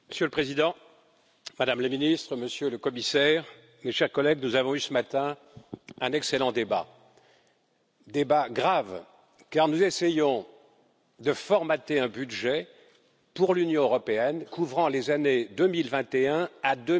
Monsieur le Président, Madame la Ministre, Monsieur le Commissaire, mes chers collègues, nous avons eu ce matin un excellent débat, un débat grave, car nous essayons de formater un budget pour l'Union européenne, couvrant les années 2021 à